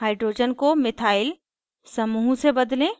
hydrogen को methyl समूह से बदलें